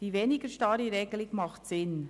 Die weniger starre Regelung macht Sinn.